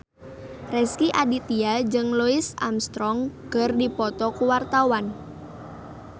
Rezky Aditya jeung Louis Armstrong keur dipoto ku wartawan